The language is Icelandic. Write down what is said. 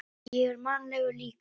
Ég er mannlegur líka.